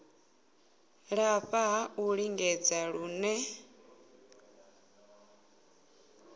lafha ha u lingedza hune